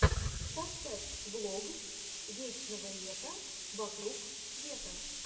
поставь влог вечного лета вокруг света